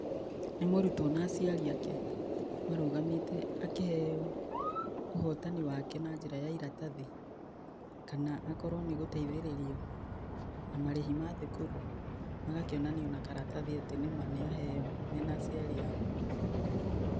Nĩ mũrutwo na aciarĩ ake marũgamĩte akĩheo ũhotani wake na njĩra ya iratathi. Kana akorwo nĩ gũteithĩrĩrio na marĩhi ma thukuru magakĩonanio na karatathi atĩ nĩma nĩ aheo mena aciari ao.